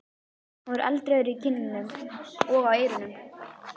Hann var eldrauður í kinnunum og á eyrunum.